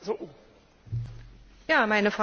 Meine Frage geht in die gleiche Richtung.